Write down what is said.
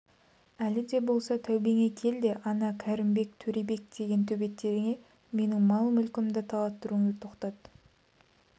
әлі де болса тәубеңе кел де ана кәрімбай төребек деген төбеттеріңе менің мал-мүлкімді талаттыруыңды тоқтат